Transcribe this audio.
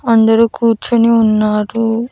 అందరూ కూర్చొని ఉన్నాడు.